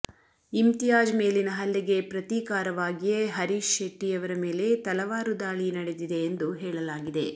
ಇಮ್ತಿಯಾಜ್ ಮೇಲಿನ ಹಲ್ಲೆಗೆ ಪ್ರತೀಕಾರವಾಗಿಯೇ ಹರೀಶ್ ಶೆಟ್ಟಿ ಅವರ ಮೇಲೆ ತಲವಾರು ದಾಳಿ ನಡೆದಿದೆ ಎಂದು ಹೇಳಲಾಗಿದೆ